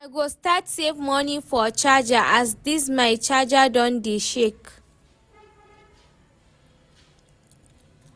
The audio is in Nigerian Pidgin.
I go start save money for charger as this my charger don dey shake